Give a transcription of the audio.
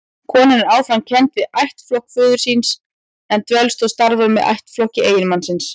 Konan er áfram kennd við ættflokk föður síns, en dvelst og starfar með ættflokki eiginmannsins.